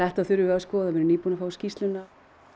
þetta þurfum við að skoða við erum nýbún að fá skýrsluna